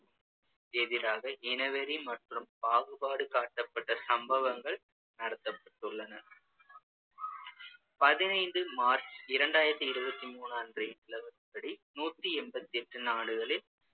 எதிராக இனவெறி மற்றும் பாகுபாடு காட்டப்பட்ட சம்பவங்கள் நடத்தப்பட்டுள்ளன பதினைந்து மார்ச் இரண்டாயிரத்தி இருவத்தி மூணு அன்றைய நிலவரப்படி நூத்தி எண்பத்து எட்டு நாடுகளில்